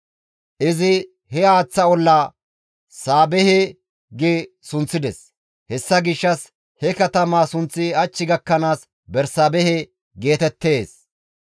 Izi he haaththa ollaa, «Saabehe» gi sunththides; hessa gishshas he katamaa sunththi hach gakkanaas Bersaabehe geetettees.